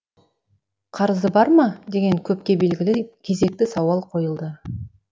қарызы бар ма деген көпке белгілі кезекті сауал қойылды